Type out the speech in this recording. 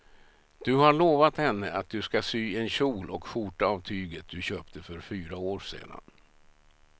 Du har lovat henne att du ska sy en kjol och skjorta av tyget du köpte för fyra år sedan.